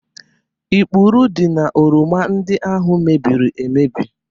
Ikpurị dị n'oroma ndị ahụ mebịrị emebi